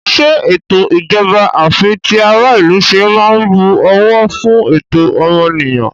Ṣé ètò ìjọba àfitiaráìlúṣe máa ń bu ọ̀wọ̀ fú ẹ̀tọ́ ọmọnìyàn?